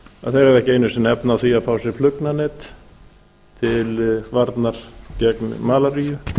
að þeir hafa ekki einu sinni efni á því að fá sér flugnanet til varnar gegn malaríu